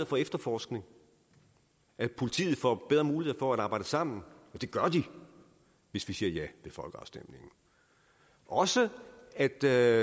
for efterforskning at politiet får bedre muligheder for at arbejde sammen og det gør de hvis vi siger ja ved folkeafstemningen og også at der